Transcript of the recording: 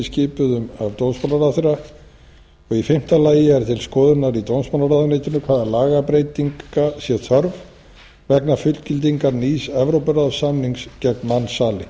skipuðum af dómsmálaráðherra og í fimmta lagi er til skoðunar í dómsmálaráðuneytinu hvaða lagabreytinga sé þörf vegna fullgildingar nýs evrópuráðssamnings gegn mansali í